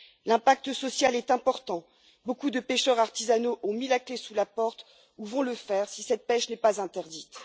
L'impact social est important beaucoup de pêcheurs artisanaux ont mis la clé sous la porte, ou vont le faire si cette pêche n'est pas interdite.